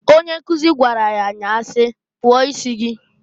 Onye nkuzu gwara ya nyaa si, "Kpụo isi!"